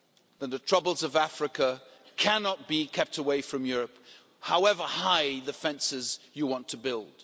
then the troubles of Africa cannot be kept away from Europe, however high the fences you want to build.